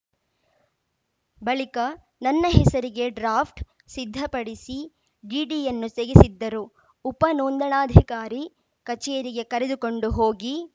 ಬಳಿಕ ನನ್ನ ಹೆಸರಿಗೇ ಡ್ರಾಫ್ಟ್‌ ಸಿದ್ಧಪಡಿಸಿ ಡಿಡಿಯನ್ನೂ ತೆಗೆಸಿದ್ದರು ಉಪ ನೋಂದಣಾಧಿಕಾರಿ ಕಚೇರಿಗೆ ಕರೆದುಕೊಂಡು ಹೋಗಿ